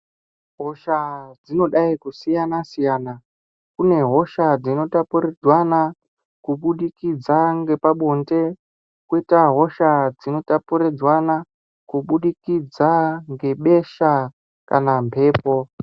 Hosha dzinodai kusiyana siyana. Kune hosha dzinotapuridzwana kubudikidza ngepabonde kwoita hosha dzinotapuridzwanwa kuburikidza ngebesha kana mbepo.